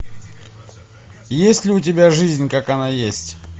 есть ли у тебя жизнь как она есть